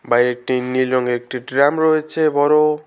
বাইরে একটি নীল রংয়ের একটি ড্রাম রয়েছে বড়।